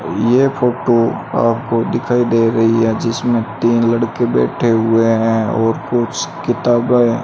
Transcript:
यह फोटो आपको दिखाई दे रही है जिसमें तीन लड़के बैठे हुए हैं और कुछ किताबा --